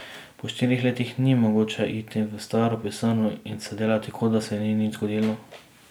Po štirih letih ni mogoče iti v staro pisarno in se delati, kot da se ni nič zgodilo.